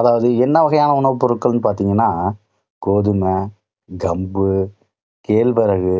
அதாவது என்ன வகையான உணவுப் பொருட்கள்னு பார்த்தீங்கன்னா, கோதுமை, கம்பு, கேழ்வரகு